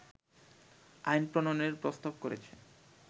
আইন প্রণয়নের প্রস্তাব করেছে